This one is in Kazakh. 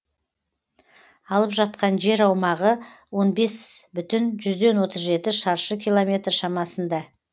алып жатқан жер аумағы он бес бүтін жүзден отыз жеті шаршы километр шамасында